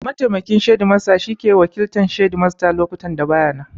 Mataimakin shedimasta shi ke wakiltan shedimata a lokutan da ba ya nan